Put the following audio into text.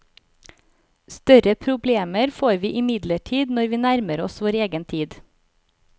Større problemer får vi imidlertid når vi nærmer oss vår egen tid.